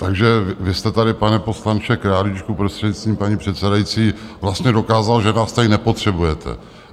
Takže vy jste tady, pane poslanče Králíčku, prostřednictvím paní předsedající, vlastně dokázal, že vás tady nepotřebujete.